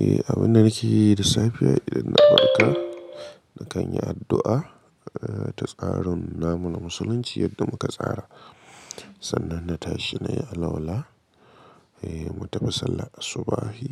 Eh, abin da nake yi da safe idan na farka, na kan yi addu'a ta tsarin namu na musulunci yadda muka tsara. Sannan na tashi nayi alwala, eh, mu tafi sallar asubahi.